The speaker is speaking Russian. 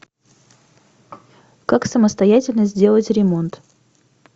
как самостоятельно сделать ремонт